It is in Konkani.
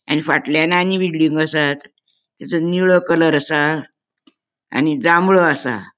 आणि फाटल्याण आणि बिल्डिंगो असात तेचो निळो कलर असा आणि जांबळो असा.